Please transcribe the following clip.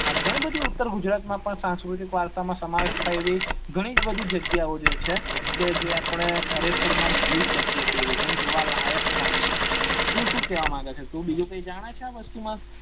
આ ગણું બધું ઉતર ગુજરાત માં સાંસ્કૃતિક વારસા માં સમાવેશ થાય એવી ગણી બધી જગ્યાઓ છે કે જે ખરેખર આપડે જોઈ શકીએ છીએ અને જોવાલાયક પણ છ તું સુ કેવા માંગે છે તું બીજું કી જાણે છે આ વસ્તુ માં